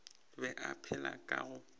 be a phela ka go